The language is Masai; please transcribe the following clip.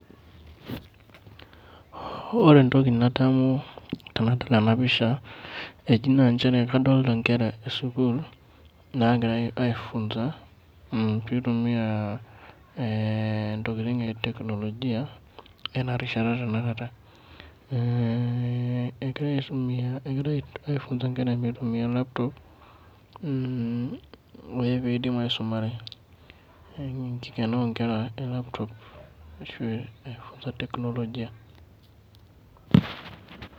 Ore entoki nadamu tenadol enapisha, eji naa njere kadolta nkera esukuul nagirai ai funza ,pitumia eh intokiting e teknolojia enarishata tanakata. Egira aitumia egira ai funza nkera mitumia laptop, pidim aisumare. Neeku enkikena onkera e laptop ai funza teknolojia.